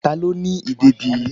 Ta ló ni ìdẹ̀dí yí?